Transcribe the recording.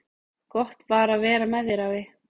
Gott var að vera með þér, afi.